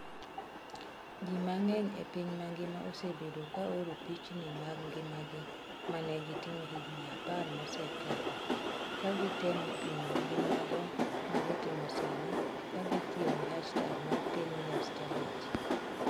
Ji mang'eny e piny mangima osebedo ka oro pichni mag ngimagi ma ne gitimo higini apar mosekalo ka gitemo pimo gi mago ma gitimo sani ka gitiyo gi hashtag mar 10YearChallenge.